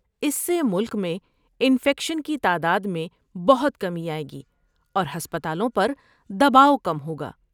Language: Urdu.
اس سے ملک میں انفیکشن کی تعداد میں بہت کمی آئے گی اور ہسپتالوں پر دباؤ کم ہوگا۔